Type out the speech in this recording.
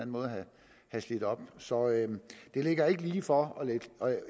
måde have slidt op så det ligger ikke lige for